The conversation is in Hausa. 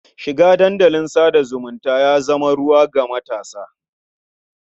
Shiga dandalin sa da zumunta ya zama ruwan ga matasa.